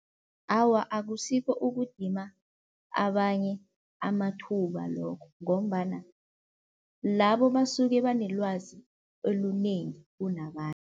Awa akusikho ukudima abanye amathuba lokho ngombana labo basuke banelwazi olunengi kunabanye.